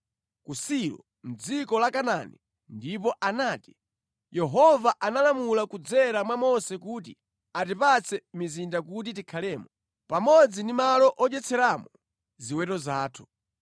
ku Silo mʼdziko la Kanaani ndipo anati, “Yehova analamula kudzera mwa Mose kuti atipatse mizinda kuti tikhalemo, pamodzi ndi malo odyetseramo ziweto zathu.”